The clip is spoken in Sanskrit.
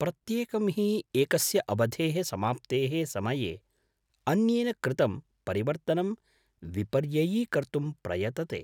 प्रत्येकं हि एकस्य अवधेः समाप्तेः समये अन्येन कृतं परिवर्तनं विपर्ययीकर्तुं प्रयतते ।